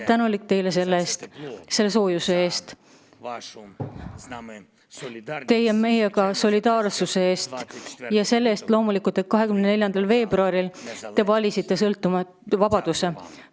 Ma olen teile tänulik selle soojuse eest, teie solidaarsuse eest meiega ja loomulikult selle eest, et 24. veebruaril te valisite vabaduse.